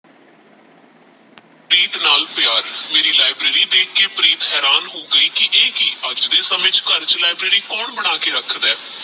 ਪ੍ਰੀਤ ਨਾਲ ਪ੍ਯਾਰ ਮੇਰੀ ਲਿਆਬ੍ਰਾਰੀ ਦੇਖ ਕ ਪ੍ਰੀਤ ਹੈਰਾਨ ਹੋ ਗਯੀ ਕੀ ਏ ਕੀ ਅਜ ਦੇ ਸਮੇ ਚ ਘਰ ਵਿਚ ਲਿਆਬ੍ਰਾਰੀ ਕੋੰਣ ਬਣਾ ਕ ਰਖਦਾ ਹੈ